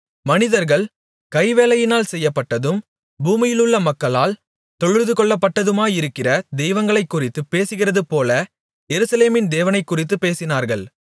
மனிதர்கள் கைவேலையினால் செய்யப்பட்டதும் பூமியிலுள்ள மக்களால் தொழுதுகொள்ளப்பட்டதுமாயிருக்கிற தெய்வங்களைக்குறித்துப் பேசுகிறதுபோல எருசலேமின் தேவனையும்குறித்துப் பேசினார்கள்